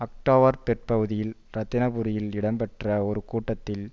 October பிற்பகுதியில் இரத்தினபுரியில் இடம்பெற்ற ஒரு கூட்டத்தில்